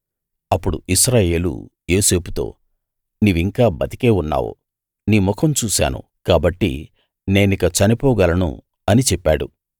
అప్పుడు ఇశ్రాయేలు యోసేపుతో నీవింకా బతికే ఉన్నావు నీ ముఖం చూశాను కాబట్టి నేనిక చనిపోగలను అని చెప్పాడు